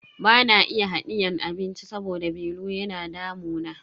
Bana iya hadiyan abinci saboda belu yana damuna.